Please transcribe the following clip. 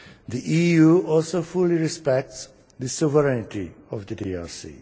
The EU also fully respects the sovereignty of the DRC.